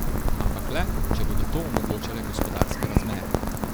Ampak le, če bodo to omogočale gospodarske razmere.